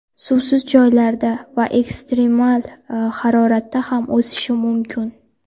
Suvsiz joylarda va ekstremal haroratda ham o‘sishi mumkin.